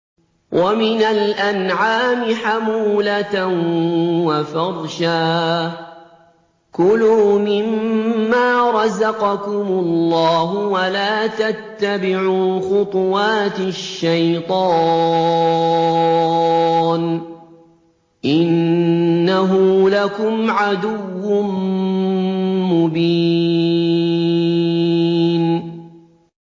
وَمِنَ الْأَنْعَامِ حَمُولَةً وَفَرْشًا ۚ كُلُوا مِمَّا رَزَقَكُمُ اللَّهُ وَلَا تَتَّبِعُوا خُطُوَاتِ الشَّيْطَانِ ۚ إِنَّهُ لَكُمْ عَدُوٌّ مُّبِينٌ